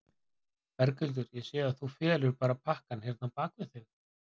Berghildur: Ég sé að þú felur bara pakkann hérna á bak við þig?